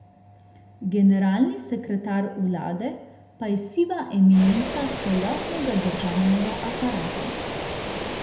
Generalni sekretar vlade pa je siva eminenca celotnega državnega aparata.